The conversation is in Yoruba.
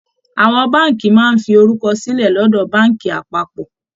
Àwọn Báànkì máa ń fi orúkọ sílẹ̀ lọ́dọ̀ Báànkì apápọ̀